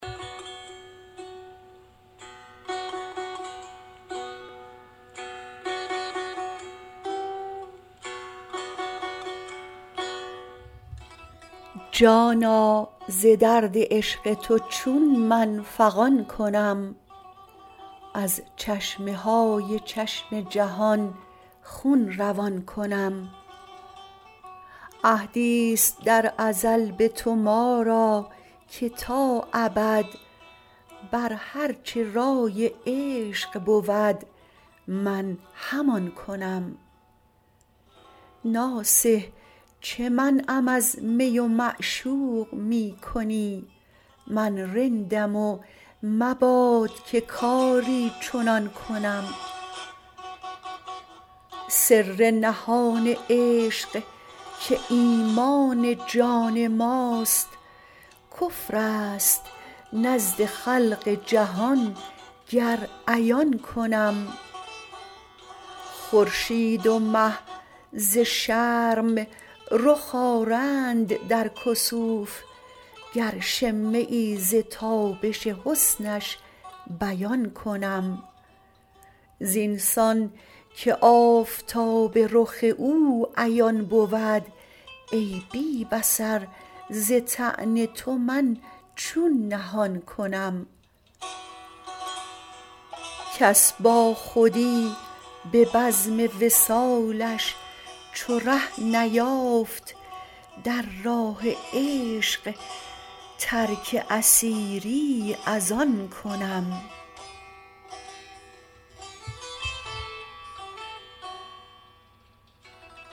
جانا ز درد عشق تو چون من فغان کنم از چشمه های چشم جهان خون روان کنم عهدیست در ازل بتو ما را که تا ابد برهر چه رای عشق بود من همان کنم ناصح چه منعم از می و معشوق میکنی من رندم و مباد که کاری چنان کنم سر نهان عشق که ایمان جان ماست کفرست نزد خلق جهان گر عیان کنم خورشید و مه ز شرم رخ آرند در کسوف گر شمه ز تابش حسنش بیان کنم زینسان که آفتاب رخ او عیان بود ای بی بصر ز طعن تو من چون نهان کنم کس با خودی ببزم وصالش چوره نیافت در راه عشق ترک اسیری از آن کنم